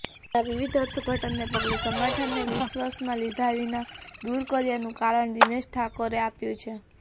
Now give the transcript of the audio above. જેના વિવિધ અર્થઘટનને પગલે સંગઠને વિશ્વાસમાં લીધા વિના દૂર કર્યાનું કારણ દિનેશ ઠાકોરે આપ્યું છે